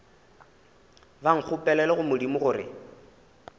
ba nkgopelele go modimo gore